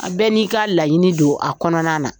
A bɛɛ n'i ka laɲini don a kɔnɔna na